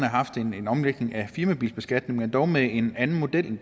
haft en omlægning af firmabilbeskatningen men dog med en anden model end